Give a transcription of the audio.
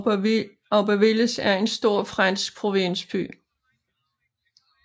Aubervilliers er en stor fransk provinsby